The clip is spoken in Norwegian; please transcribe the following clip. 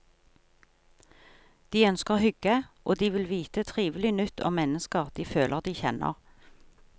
De ønsker hygge, og de vil vite trivelig nytt om mennesker de føler de kjenner.